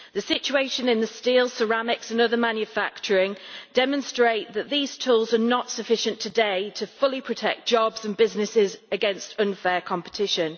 The situation in the steel, ceramics, and other manufacturing industries demonstrates that these tools are not sufficient today to fully protect jobs and businesses against unfair competition.